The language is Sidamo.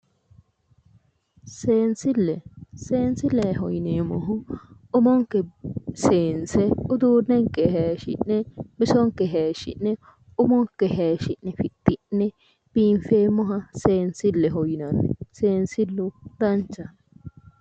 Seensille seensilleho yineemmohu umonke seense uduunnenke hayiishi'ne bisonke hayiishshi'ne umonke hayiishshi'ne fixxi'ne biinfeemmoha seensilleho yinanni seensillu danchaho